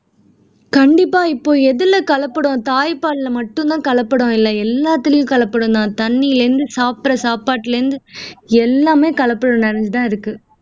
கண்டிப்பா இப்போ எதுல கலப்படம் தாய்ப்பால்ல மட்டும் தான் கலப்படம் இல்ல எல்லாத்துலயும் கலப்படம் தான் தண்ணில இருந்து சாப்புடுற சாப்பாட்டுல இருந்து எல்லாமே கலப்படம் நடந்து தான் இருக்கு